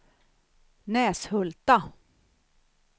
Näshulta